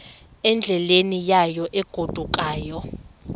endleleni yayo egodukayo